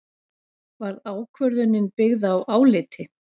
Var ákvörðunin byggð á áliti